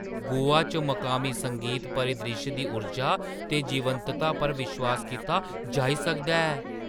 गोवा च मकामी संगीत परिद्रिश्श दी ऊर्जा ते जीवंतता पर विश्वास कीता जाई सकदा ऐ।